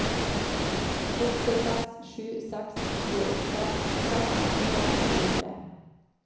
åtte seks sju seks tjueåtte seks hundre og tjuetre